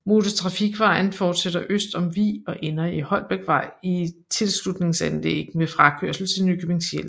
Motortrafikvejen forsætter øst om Vig og ender i Holbækvej i et tilslutningsanlæg med frakørsel til Nykøbing Sjælland